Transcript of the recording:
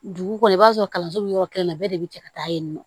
Dugu kɔnɔ i b'a sɔrɔ kalanso bɛ yɔrɔ kelen na bɛɛ de bɛ cɛ ka taa yen nɔ